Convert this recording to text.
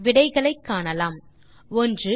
விடைகளை காணலாம் 1